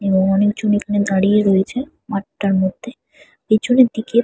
এবং অনেকজন এখানে দাঁড়িয়ে রয়েছে মাঠটার মধ্যে। পেছনের দিকে--